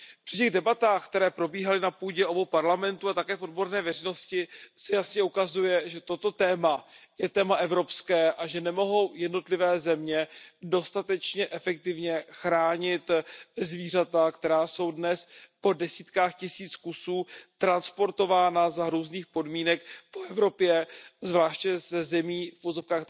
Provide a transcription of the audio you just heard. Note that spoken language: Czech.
Při těch debatách, které probíhaly na půdě obou komor Parlamentu a také v odborné veřejnosti, se jasně ukazuje, že toto téma je téma evropské a že nemohou jednotlivé země dostatečně efektivně chránit zvířata, která jsou dnes po desítkách tisíc kusů transportována za hrůzných podmínek po Evropě, zvláště z tzv.